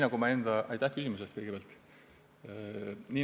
Kõigepealt aitäh küsimuse eest!